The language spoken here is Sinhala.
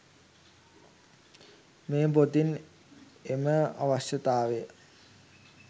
මෙම පොතින් එම අවශ්‍යතාවය